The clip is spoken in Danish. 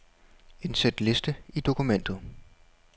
Indsæt liste i dokumentet.